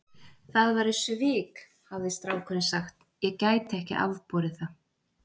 Það væru svik, hafði strákurinn sagt, ég gæti ekki afborið það.